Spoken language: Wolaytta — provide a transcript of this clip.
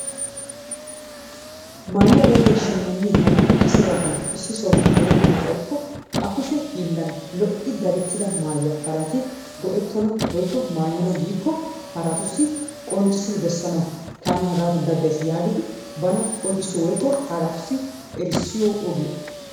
Maayuwa daddiya shimagnee hagaappe kase bagan issi sohuwaan erettana xayikko a kushshe hiillan lo'i dadettida maayuwa haratti go'ettona woikko maayonna giikko harattussi qonccissidi besanawu taani hagaadan daddayssi yaagidi bana qonccissi woikko errissiyo oogiya.